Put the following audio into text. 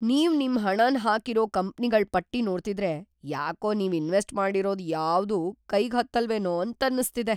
ನೀವ್‌ ನಿಮ್‌ ಹಣನ್ ಹಾಕಿರೋ ಕಂಪ್ನಿಗಳ್‌ ಪಟ್ಟಿ ನೋಡ್ತಿದ್ರೆ ಯಾಕೋ ನೀವ್‌ ಇನ್ವೆಸ್ಟ್‌ ಮಾಡಿರೋದ್‌ ಯಾವ್ದೂ ಕೈಗ್‌ ಹತ್ತಲ್ವೇನೋ ಅಂತನ್ನಿಸ್ತಿದೆ.